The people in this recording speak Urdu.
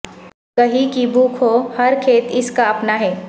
کہیں کی بھوک ہو ہر کھیت اس کا اپنا ہے